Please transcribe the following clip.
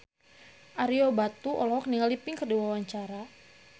Ario Batu olohok ningali Pink keur diwawancara